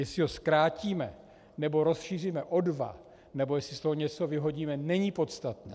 Jestli ho zkrátíme, nebo rozšíříme o dva nebo jestli z toho něco vyhodíme, není podstatné.